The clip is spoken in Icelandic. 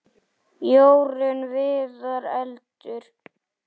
Jórunn Viðar: Eldur.